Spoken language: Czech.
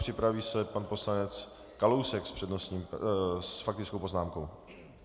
Připraví se pan poslanec Kalousek s faktickou poznámkou.